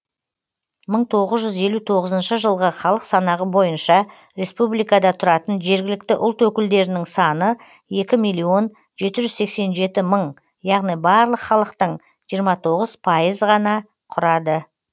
мың тоғыз жүз елу тоғызыншы жылғы халық санағы бойынша республикада тұратын жергілікті ұлт өкілдерінің саны екі миллион жеті жүз сексен жеті мың яғни барлық халықтың жиырма тоғыз пайыз ғана құрады